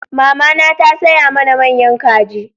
Mamana ta saya mana manya kaji